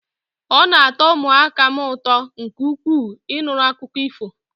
Ọ na atọ ụmụaka m ụtọ nke ukwuu, Ị nụrụ akụkọ ifo